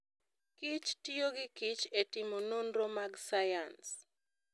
kich tiyo gikich e timo nonro mag sayans.